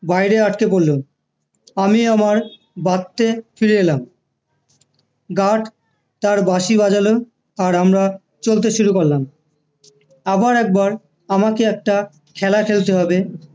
বাইরে আটকে পড়লো আমি আমার বাত্তে ফিরে এলাম gaurd তার বাঁশি বাজালো আর আমরা চলতে শুরু করলাম আবার একবার আমাকে একটা খেলা খেলতে হবে